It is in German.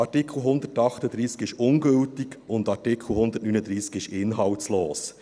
Artikel 138 ist ungültig und Artikel 139 ist inhaltslos.